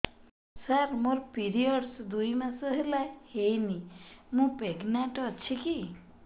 ସାର ମୋର ପିରୀଅଡ଼ସ ଦୁଇ ମାସ ହେଲା ହେଇନି ମୁ ପ୍ରେଗନାଂଟ ଅଛି କି